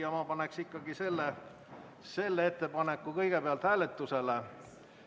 Ja ma paneksin ikkagi selle ettepaneku kõigepealt hääletusele.